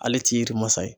Ale t'i yiri masa ye